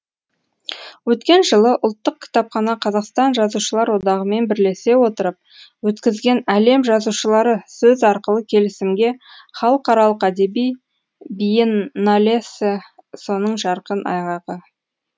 өткен жылы ұлттық кітапхана қазақстан жазушылар одағымен бірлесе отырып өткізген әлем жазушылары сөз арқылы келісімге халықаралық әдеби биенналесі соның жарқын айғағы